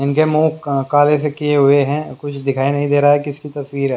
इनके मुंह काले से किए हुए हैं कुछ दिखाई नहीं दे रहा है किसको तस्वीर है।